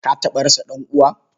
Ka taɓa rasa ɗan'uwa?